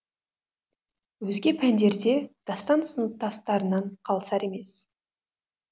өзге пәндерде дастан сыныптастарынан қалысар емес